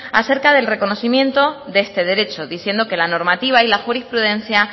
acerca del reconocimiento de este derecho diciendo que la normativa y la jurisprudencia